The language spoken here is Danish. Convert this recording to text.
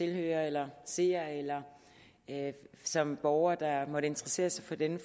tilhører eller seer eller som borger der måtte interessere sig for denne